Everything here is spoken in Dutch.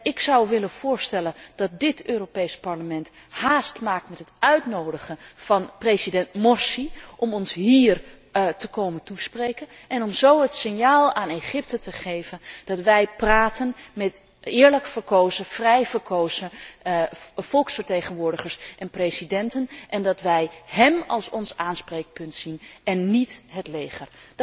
Ik zou willen voorstellen dat dit Europees Parlement haast maakt met het uitnodigen van president Mursi om ons hier te komen toespreken, om zo het signaal aan Egypte te geven dat wij praten met eerlijk en vrij verkozen volksvertegenwoordigers en presidenten en dat wij hem als ons aanspreekpunt zien en niet het leger.